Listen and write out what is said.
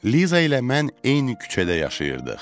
Liza ilə mən eyni küçədə yaşayırdıq.